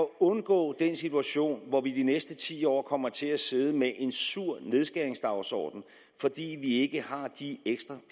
undgå den situation hvor vi i de næste ti år kommer til at sidde med en sur nedskæringsdagsorden fordi vi ikke har de ekstra